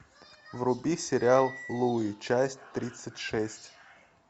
вруби сериал луи часть тридцать шесть